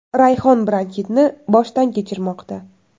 Rayhon bronxitni boshdan kechirmoqda.